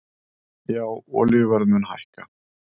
Já olíuverð mun hækka